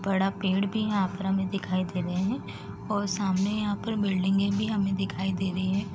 बड़ा पेड़ भी यहाँ पर हमें दिखाई दे रहे हैं और सामने यहाँ पर बिल्डिंगे भी हमें दिखाई दे रहीं हैं।